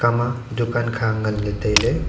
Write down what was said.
ikha ma dukan kha nganley tailey.